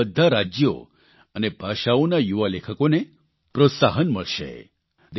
તેનાથી બધા રાજયો અને ભાષાઓના યુવા લેખકોને પ્રોત્સાહન મળશે